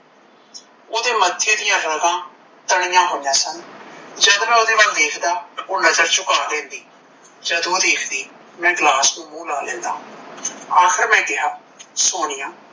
ਓਦੇ ਮੱਥੇ ਦੀਆ ਰਗਾਂ ਤਣਿਆ ਹੋਇਆ ਸਨ, ਜਦ ਮੈ ਉਹਦੇ ਵੱਲ ਦੇਖਦਾ ਓਹ ਨਜਰ ਝੁੱਕਾ ਲੈਂਦੀ, ਜਦ ਓਹ ਦੇਖਦੀ ਮੈ ਗਲਾਸ ਨੂੰ ਮੂੰਹ ਲਾ ਲੈਂਦਾ, ਆਖਿਰ ਮੈਂ ਕਿਹਾ ਸੋਨੀਆ